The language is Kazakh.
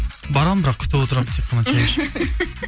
барамын бірақ күтіп отырамын тек қана